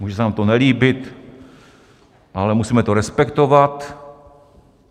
Může se nám to nelíbit, ale musíme to respektovat.